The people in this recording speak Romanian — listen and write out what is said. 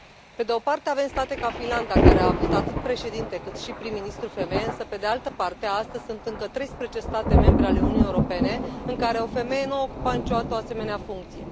Pe de o parte, avem state ca Finlanda, care a avut atât președinte, cât și prim ministru femeie, însă, pe de altă parte, astăzi sunt încă 13 state membre ale Uniunii Europene în care o femeie nu a ocupat niciodată o asemenea funcție.